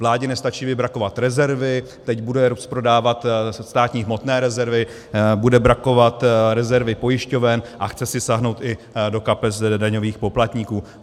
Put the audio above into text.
Vládě nestačí vybrakovat rezervy, teď bude rozprodávat státní hmotné rezervy, bude brakovat rezervy pojišťoven a chce si sáhnout i do kapes daňových poplatníků.